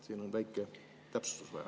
Siin on väikest täpsustust vaja.